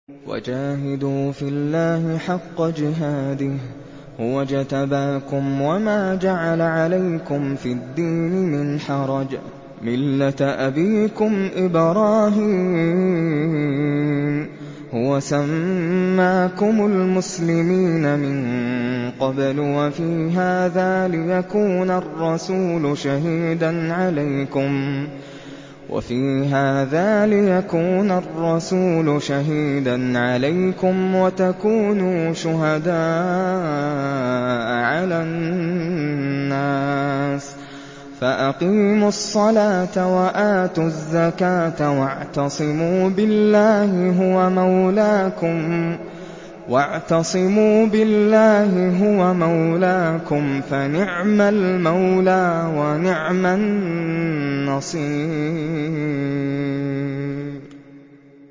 وَجَاهِدُوا فِي اللَّهِ حَقَّ جِهَادِهِ ۚ هُوَ اجْتَبَاكُمْ وَمَا جَعَلَ عَلَيْكُمْ فِي الدِّينِ مِنْ حَرَجٍ ۚ مِّلَّةَ أَبِيكُمْ إِبْرَاهِيمَ ۚ هُوَ سَمَّاكُمُ الْمُسْلِمِينَ مِن قَبْلُ وَفِي هَٰذَا لِيَكُونَ الرَّسُولُ شَهِيدًا عَلَيْكُمْ وَتَكُونُوا شُهَدَاءَ عَلَى النَّاسِ ۚ فَأَقِيمُوا الصَّلَاةَ وَآتُوا الزَّكَاةَ وَاعْتَصِمُوا بِاللَّهِ هُوَ مَوْلَاكُمْ ۖ فَنِعْمَ الْمَوْلَىٰ وَنِعْمَ النَّصِيرُ